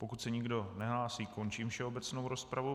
Pokud se nikdo nehlásí, končím všeobecnou rozpravu.